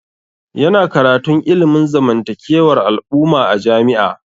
Ya na karantun ilimin zamantakewar al'umma a jami'a